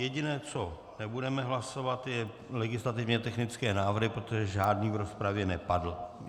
Jediné, co nebudeme hlasovat, jsou legislativně technické nápravy, protože žádný v rozpravě nepadl.